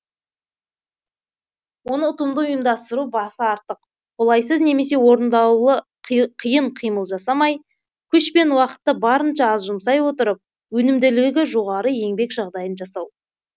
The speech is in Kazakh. оны ұтымды ұйымдастыру басы артық қолайсыз немесе орындаулы қиын қимыл жасамай күш пен уақытты барынша аз жұмсай отырып өнімділігі жоғары еңбек жағдайын жасау